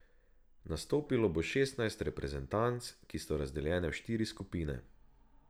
Nastopilo bo šestnajst reprezentanc, ki so razdeljene v štiri skupine.